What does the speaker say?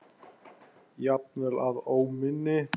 Jafnvel að óminni.